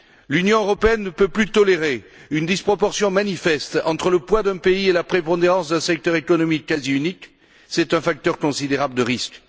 L'Union européenne ne peut plus tolérer une disproportion manifeste entre le poids d'un pays et la prépondérance d'un secteur économique quasi unique. C'est un facteur considérable de risque.